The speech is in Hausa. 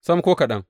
Sam, ko kaɗan!